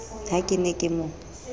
ha ke ne ke mo